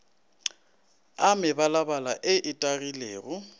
a mebalabala ye e tagilego